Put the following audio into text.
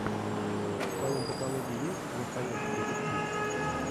в твоем каталоге есть настоящий детектив